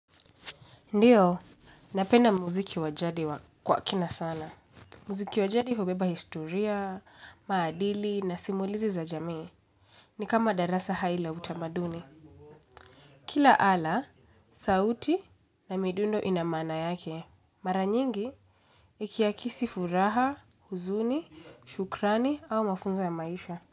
Ndiyo, napenda muziki wa jadi kwa kina sana. Muziki wa jadi hubeba historia, maadili na simulizi za jamii. Ni kama darasa hai la utamaduni. Kila ala, sauti na midundo ina maana yake. Mara nyingi, ikiakisi furaha, huzuni, shukrani au mafunzo ya maisha.